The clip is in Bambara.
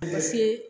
A ma se